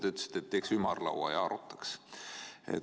Te ütlesite, et teeks ümarlaua ja arutaks.